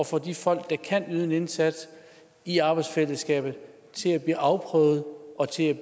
få de folk der kan yde en indsats i arbejdsfællesskabet til at blive afprøvet og til